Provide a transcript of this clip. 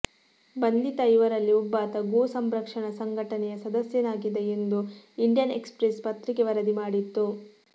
ಬಂಧಿತ ಐವರಲ್ಲಿ ಒಬ್ಬಾತ ಗೋಸಂರಕ್ಷಣಾ ಸಂಘಟನೆಯ ಸದಸ್ಯನಾಗಿದ್ದ ಎಂದು ಇಂಡಿಯನ್ ಎಕ್ಸ್ ಪ್ರೆಸ್ ಪತ್ರಿಕೆ ವರದಿ ಮಾಡಿತ್ತು